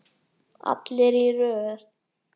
Allir í röð!